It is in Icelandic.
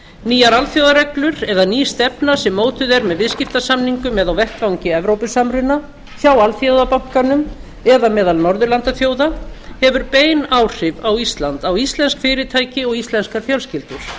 nýjar alþjóðareglur eða ný stefna sem mótuð er með viðskiptasamningum eða á vettvangi evrópusamruna hjá alþjóðabankanum eða meðal norðurlandaþjóða hefur bein áhrif á ísland á íslensk fyrirtæki og íslenskar fjölskyldur